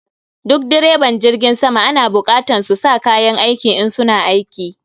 Duk direban jirgin sama ana bukatan su sa kayan aiki, in suna aiki